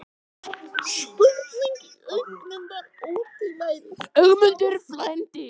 Spurningin í augunum var ótvíræð: Sjáumst við aftur?